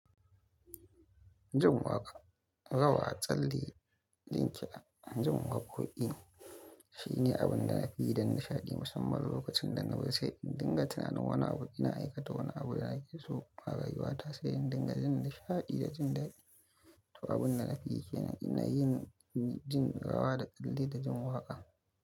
Jin waƙa, rawa, tsalle, ɗinki da jin waƙoƙi shine abin da na fi yi don nishaɗi musamman lokacin da na bari sai in dinga tuna wani abu ina aikata, wani abu ina giso ma ga yi wata sai in dinga jin nishaɗi da jin daɗi. To abun da na fi kenan ina yin jin rawa da tsalle da jin waƙa.